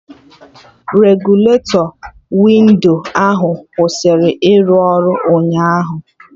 Regụletọ windo ahụ kwụsịrị ịrụ ọrụ ụnyaahụ